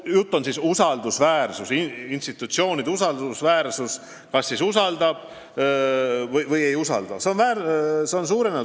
Jutt on institutsioonide usaldusväärsusest, st kas rahvas usaldab või ei usalda neid.